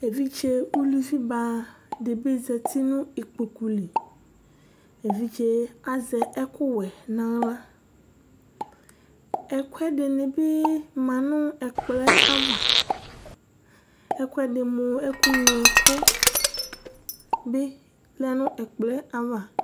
Evidze ʋlʋvi ba dibi zɛti nʋ ikpoku li Evidze azɛ ɛkʋ wɛ nʋ aɣla Ɛkʋɛdini bi ma nʋ ɛkplɔ yɛ ava Ɛkʋɛdi mʋ ɛku nylo ɛkʋ bi lɛ nʋ ɛkplɔ yɛ ava